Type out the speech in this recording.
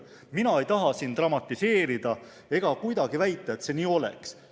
Mina ei taha siin dramatiseerida ega kuidagi väita, et see nii oleks.